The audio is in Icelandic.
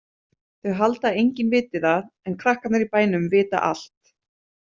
Þau halda að enginn viti það en krakkarnir í bænum vita allt.